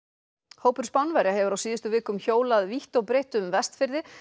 hópur Spánverja hefur á síðustu vikum hjólað vítt og breitt um Vestfirði